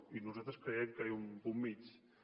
i nosaltres creiem que hi ha un punt mitjà